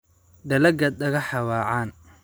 Dalagga dhagaxa waa caan.